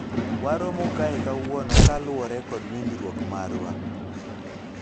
waromo kae kawuono kaluwore kod winjruok marwa